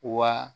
Wa